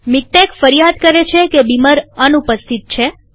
મીક્ટેક ફરિયાદ કરે છે કે બીમર અનુપસ્થિત છે